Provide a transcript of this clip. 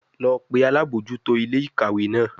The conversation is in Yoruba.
Lọ pe alabojuto ile-ikawe naa!